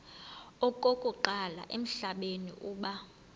okokuqala emhlabeni uba